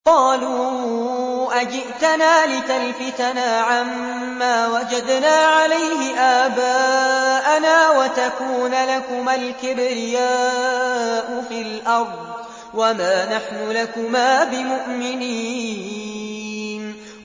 قَالُوا أَجِئْتَنَا لِتَلْفِتَنَا عَمَّا وَجَدْنَا عَلَيْهِ آبَاءَنَا وَتَكُونَ لَكُمَا الْكِبْرِيَاءُ فِي الْأَرْضِ وَمَا نَحْنُ لَكُمَا بِمُؤْمِنِينَ